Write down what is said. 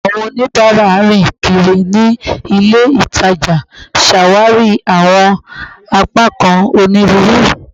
Awọn onibara rin kiri ni ile itaja itaja, ṣawari awọn apakan oniruuru